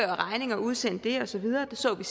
regninger og udsende dem og så videre det så vi